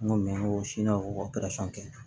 N ko kɛ